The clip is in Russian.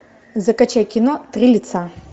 закачай кино три лица